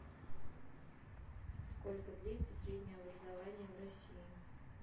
сколько длится среднее образование в россии